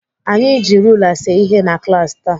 Anyị ji rula see ihe na klaasị taa.